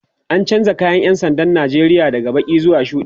an chanza kayan ƴan sandan Nigeria daga Baki zuwa shuɗi